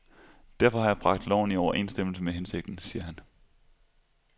Derfor har jeg bragt loven i overensstemmelse med hensigten, siger han.